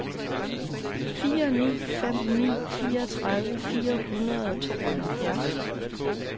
fire ni fem ni fireogtredive fire hundrede og tooghalvfjerds